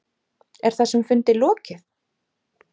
Er þessum fundi lokið?